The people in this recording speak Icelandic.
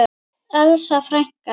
Elsa frænka.